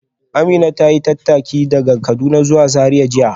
Amina ta yi tattaki daga Kaduna zuwa Zariya jiya